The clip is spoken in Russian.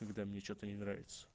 когда мне что-то не нравится